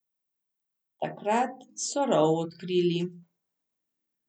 Takrat so rov odkrili.